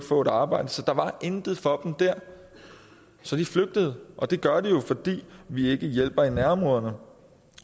få et arbejde der var intet for dem der så de flygtede og det gør de jo fordi vi ikke hjælper i nærområderne